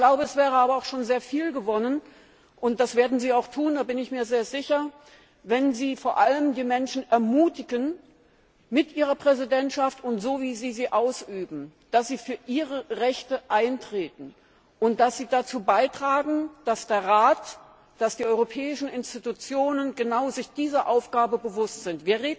Ich glaube, es wäre aber sehr viel gewonnen und das werden Sie auch tun, da bin ich mir sehr sicher wenn Sie vor allem die Menschen ermutigen mit Ihrer Präsidentschaft und so, wie Sie sie ausüben, dass Sie für ihre Rechte eintreten, und dass Sie dazu beitragen, dass der Rat, die europäischen Institutionen sich genau dieser Aufgabe bewusst sind.